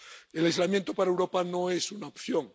El aislamiento para Europa no es una opción.